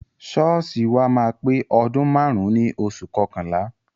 Ṣọ́ọ̀ṣì wa máa pé ọdún márùn-ún ní oṣù kọkànlá.